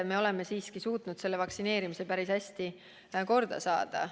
Me oleme siiski suutnud vaktsineerimise päris hästi käima saada.